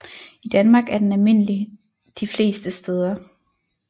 I Danmark er den almindelig de fleste steder